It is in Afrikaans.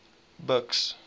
buks